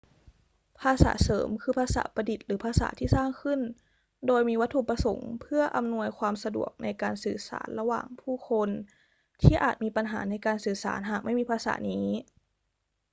ภาษาเสริมคือภาษาประดิษฐ์หรือภาษาที่สร้างขึ้นโดยมีวัตถุประสงค์เพื่ออำนวยความสะดวกในการสื่อสารระหว่างผู้คนที่อาจมีปัญหาในการสื่อสารหากไม่มีภาษานี้